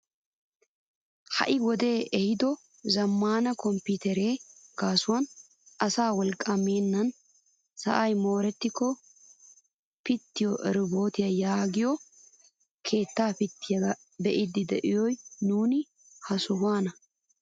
Ha'i wodee ehido zammaana kompiiteriyaa gaasuwaan asaa wolqqaa meennan sa'ay moorettiko pittiyaa roobotiyaa yaagiyogee keettaa pittiyaagaa be'idi de'os nuuni ha sohuwaan.